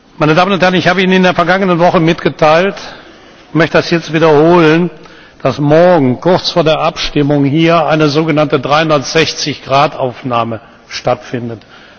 Meine Damen und Herren! Ich habe Ihnen in der vergangenen Woche mitgeteilt und möchte das jetzt wiederholen, dass am Mittwoch kurz vor der Abstimmung hier eine sogenannte 360 Grad Aufnahme stattfindet.